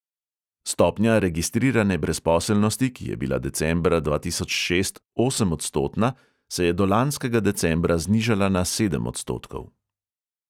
Stopnja registrirane brezposelnosti, ki je bila decembra dva tisoč šest osemodstotna, se je do lanskega decembra znižala na sedem odstotkov.